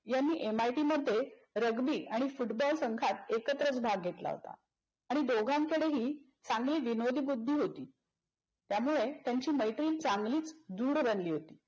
यांनी MIT मध्ये rugby आणि football संघात एकत्रच भाग घेतला होता आणि दोघांकडेही चांगली विनोदी बुद्धी होती. त्यामुळे त्यांची मैत्रीही चांगलीच दृढ बनली होती.